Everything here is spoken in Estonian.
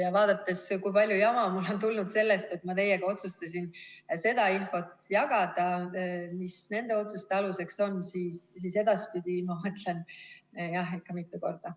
Ja vaadates seda, kui palju jama mul on tulnud sellest, et ma otsustasin seda infot, mis nende otsuste aluseks on olnud, teiega jagada, siis ma edaspidi mõtlen enne ikka mitu korda.